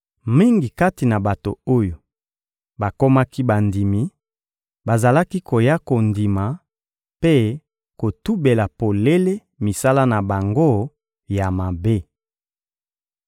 Mingi kati na bato oyo bakomaki bandimi bazalaki koya kondima mpe kotubela polele misala na bango ya mabe.